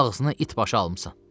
Ağzına itbaşı almısan.